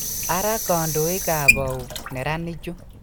Ara kandoikab au neranichu